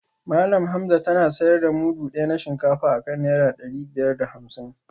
Malam Hamza tana sayar da mudu daya na shinkafa akan naira dari biyar da hamsin